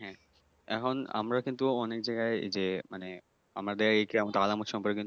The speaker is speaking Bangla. হ্যাঁ এখন আমরা কিন্তু অনেক জায়গায় যে মানে আমাদের অনেক আলামত সম্পর্কে